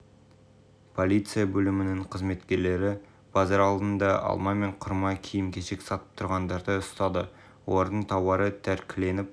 полиция бөлімінің қызметкерлері базар алдында алма мен құрма киім-кешек сатып тұрғындарды ұстады олардың тауары тәркіленіп